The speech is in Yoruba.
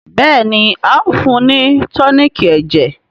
béèni, a o fún ni toniiki ẹjẹ.